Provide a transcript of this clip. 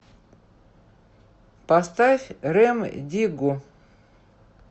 поставь рем диггу